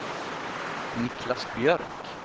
Niclas Björk